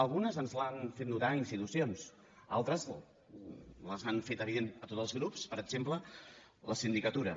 algunes ens les han fet notar institucions altres les han fet evidents a tots els grups per exemple la sindicatura